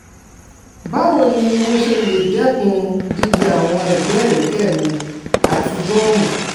Báwo ni mo ṣe lè dẹ́kun jíjẹ àwọn ẹ̀gbẹ́ ẹ̀rẹ̀kẹ́ mi àti gọ́ọ̀mù?